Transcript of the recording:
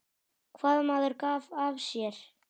Hvað maður gaf af sér.